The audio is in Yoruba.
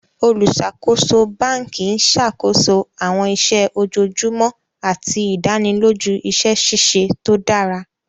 Olùṣakoso bánkì n ṣakoso awọn iṣẹ ojoojumọ̀ àti idànìlòjú iṣẹ ṣiṣẹ̀ tó dára.